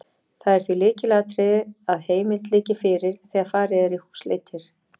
Það er því lykilatriði að heimild liggi fyrir þegar farið er í húsleitir.